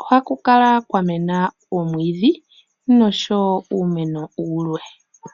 Ohaku kala kwa mena oomwiidhi noshowo uumeno wulwe.